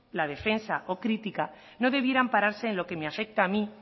la defensa o crítica no debiera ampararse en lo que me afecta a mí